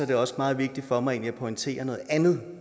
det også meget vigtigt for mig egentlig at pointere noget andet